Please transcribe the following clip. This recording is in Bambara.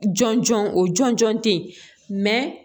Jɔn jɔn o jɔnjɔn tɛ yen